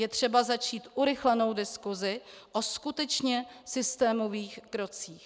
Je třeba začít urychlenou diskusi o skutečně systémových krocích.